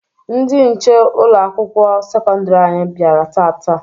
Ndị nche ụlọ akwụkwọ sekọndiri anyị bịara taata.